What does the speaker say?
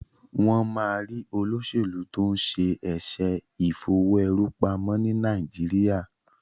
wón má rí olósèlú to'n ṣe eṣe Ìfowó-èrú-pamọ́ ní Nàìjíríà.